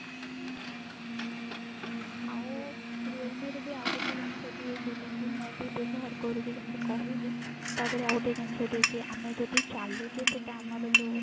ଆଉ realme ର ବି ଆଉ ଗୋଟେ ଜିନିଷ ଦିଏ ଯଉଟା କି ମୁଁ ବି ବ୍ୟବହାର କରୁଛି ଯେମତି କହିଲି ତା ଧିଅରେ ଆଉ ଗୋଟେ ଜିନିଷ ଦିଏ କି ଆମେ ଯଦି ଚାଲୁଛେ ସେଟା ଆମର ଯଉ